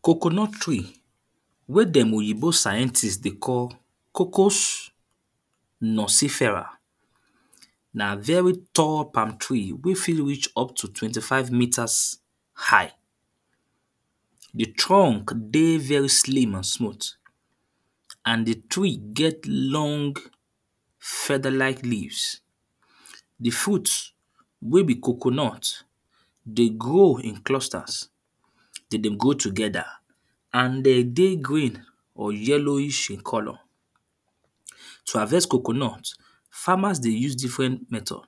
Coconut tree wey them oyinbo scientist dey call cocos nusifera. Na very tall palm tree wey fit reach up to twenty five metres high. The trunk dey very slim and smooth, and the tree get long featherlike leaves. The fruit wey be coconut dey grow in clusters, then dey grow together, and then dey green or yellowish in colour. To harvest coconut, farmers dey use different methods,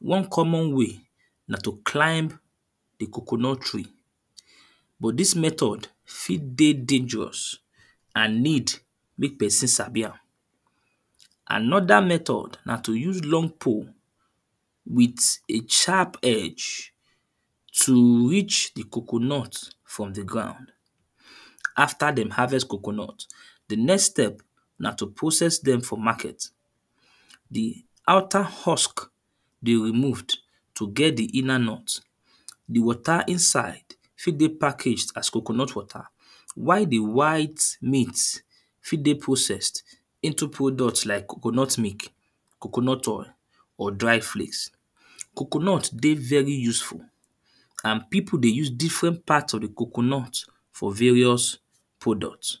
one common way na to climb the coconut tree, but this method fit dey dangerous and need make person sabi am. Another method na to use long pole with a sharp edge to reach the coconut from the ground. After them harvest the coconut, the next step na to process them for market. The outer husk they removed to get the inner nut, the water inside fit dey package as coconut water. While the white meat fit dey processed into product like coconut milk, coconut oil or dry flakes. Coconut dey very useful and people dey use different part of the coconut for various product.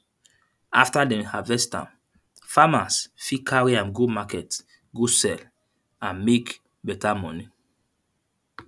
After then harvest am, farmers fit carry am go market go sell and make better money.